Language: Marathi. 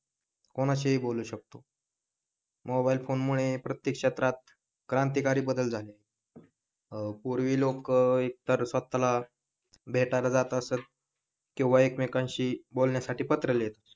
कोणाशी ही बोलू शकतो मोबाईल फोन मुळे प्रत्येक क्षेत्रात क्रांतिकारी बदल झाले अह पूर्वी लोक एकतर स्वतःला भेटायला जात असत किंवा एकमेकांशी बोलण्यासाठी पत्र लिहीत असत